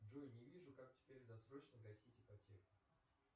джой не вижу как теперь досрочно гасить ипотеку